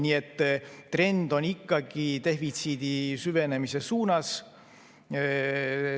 Nii et trend on ikkagi defitsiidi süvenemise suunas.